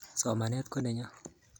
Somanet ko nenyo